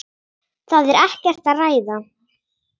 Það er ekkert að ræða.